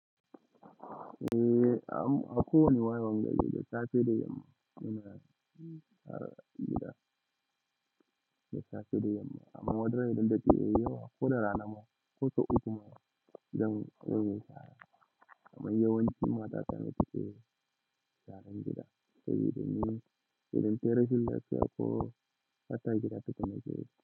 Eh, am a kowane wayewan gari da safe da yamma muna yin bikin gida. Da safe da yamma, amma wadannan dattawai yawa ko da rana ma ko sau ukku ma zan yi wani shara. Amma yawanci matatane suke sharan gida saboda ne, idan tayi rashin lafiya ko bata gida ta gama jeji.